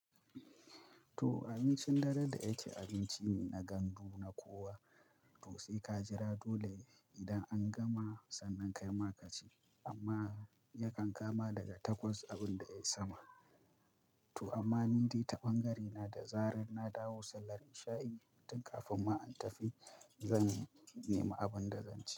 To abincin dare da ya ke abinci ne na gandu na kowa to sai ka jira dole idan an gama sannan kai ma ka ci amma yakan kama daga takwas abin da ya yi sama. To amma ni dai ta ɓangarena da zarar na dawo sallar isha'i tun kafin ma in tafi, zan nema abin da zan ci.